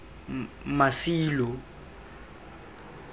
masilo